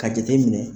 Ka jate minɛ